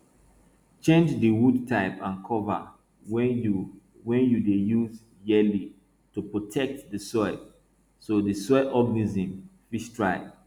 change di wood type and cover wey you wey you dey use yearly to protect di soil so di soil organisms fit thrive